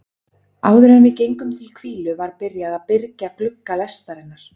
Áðuren við gengum til hvílu var byrjað að byrgja glugga lestarinnar.